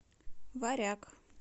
варяг